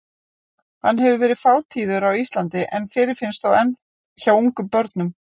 Hann hefur verið fátíður á Íslandi en fyrirfinnst þó enn hjá ungum börnum.